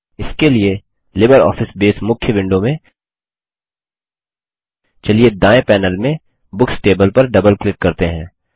इसके लिए LibreOffice Base मुख्य विंडो में चलिए दायें पैनेल में बुक्स टेबल पर डबल क्लिक करते हैं